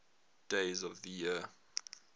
days of the year